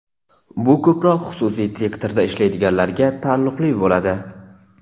Bu ko‘proq xususiy sektorda ishlaydiganlarga taalluqli bo‘ladi.